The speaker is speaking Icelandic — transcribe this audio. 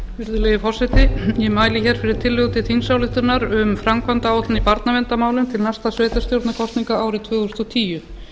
virðulegi forseti ég mæli hér fyrir tillögu til þingsályktunar um framkvæmdaáætlun í barnaverndarmálum til næstu sveitarstjórnarkosninga árið tvö þúsund og tíu